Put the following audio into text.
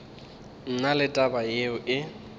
na le taba yeo e